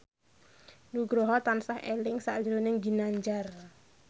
Nugroho tansah eling sakjroning Ginanjar